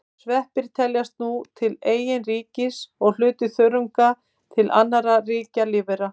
Sveppir teljast nú til eigin ríkis og hluti þörunga til annarra ríkja lífvera.